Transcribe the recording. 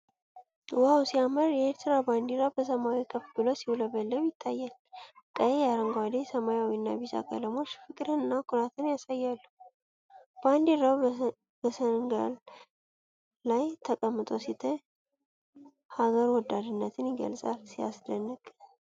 ዋው ሲያምር! የኤርትራ ባንዲራ በሰማይ ከፍ ብሎ ሲውለበለብ ይታያል። ቀይ፣ አረንጓዴ፣ ሰማያዊ እና ቢጫ ቀለሞች ፍቅርንና ኩራትን ያሳያሉ። ባንዲራው በሰንጋል ላይ ተቀምጦ ሲታይ፣ ሀገር ወዳድነትን ይገልጻል። ሲያስደንቅ!